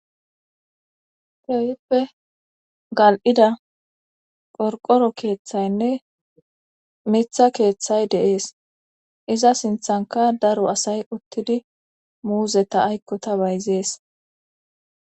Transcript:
tewippe gal7ida qorqoro keeththaynne mitha keeththay deees iza sinthanka daro asay uttidi muuzeta aykkota bayzees